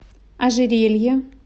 ожерелье